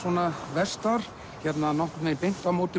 vestar nokkurn veginn beint á móti